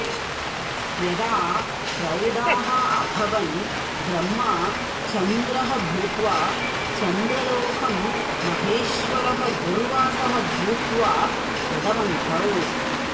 यदा प्रौढाः अभवन् ब्रह्मा चन्द्रः भूत्वा चन्द्रलोकं महेश्वरः दूर्वासः भूत्वा गतवन्तौ